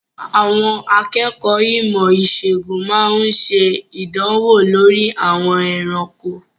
Àwọn akẹ́kọ̀ọ́ ìmọ̀-ìṣègùn máa ń ṣe ìdánwò lórí àwọn ẹranko.